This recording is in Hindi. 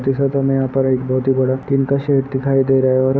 जैसा यहाँ पर एक बहुत ही बड़ा टीन का शेड दिखाई दे रहा है।